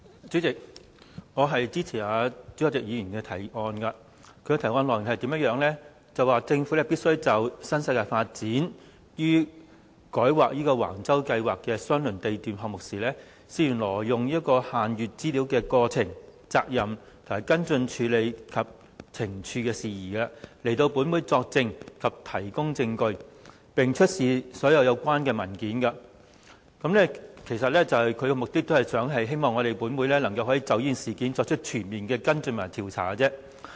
主席，我支持朱凱廸議員的議案。議案的內容是政府必須就新世界發展有限公司於改劃橫洲公共房屋發展計劃相鄰地段項目時，涉嫌挪用限閱資料之過程、責任、跟進處理及懲處事宜，前來本會作證及提供證據，並出示所有相關文件。他的目的是希望本會能夠就這事件作出全面的跟進和調查。